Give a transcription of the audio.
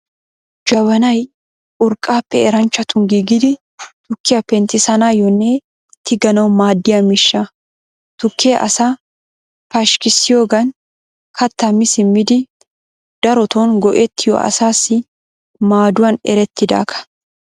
Jabanay urqqaappe eranchchatun giigidi tukkiyaa penttissanaayyoonne tiganawu maadiyaa miishsha. Tukkee asaa pashkkissiyoogaan kaattaa mi simmidi daroton go'etiyoo asaassi maaduwaan eretidaagaa.